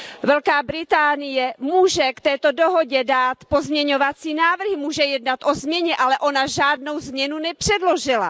Velká Británie může k této dohodě dát pozměňovací návrhy, může jednat o změně, ale ona žádnou změnu nepředložila.